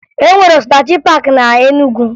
E nwere Osinachi paakị na Enugu